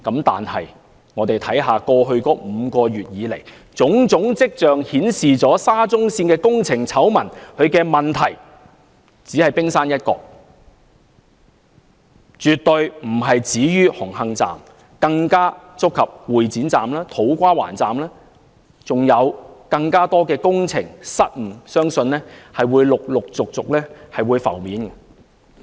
但是，過去5個月以來，種種跡象顯示沙中線工程醜聞的問題只是冰山一角，絕對不止於紅磡站，更觸及會展站、土瓜灣站，相信還有更多工程失誤會陸續浮現。